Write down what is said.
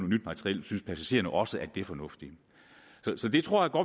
nyt materiel synes passagererne også at det er fornuftigt så det tror